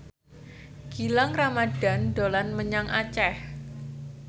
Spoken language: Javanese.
Gilang Ramadan dolan menyang Aceh